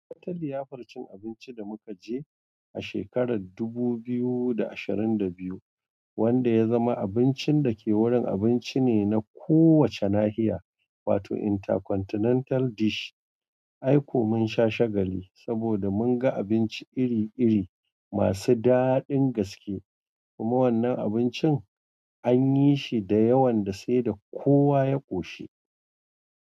Watan liyafar cin abinci da muka je a shekarar dubu biyu da ashirin da biyu, wanda ya zama abincin da ke wurin abinci ne na kowace nahiya, wato intercontinental dish. Ai ko mun sha shagali saboda mun ga abinci iri-iri masu daɗin gaske kuma wannan abincin anyi shi da yawan da sai da kowa ya ƙoshi.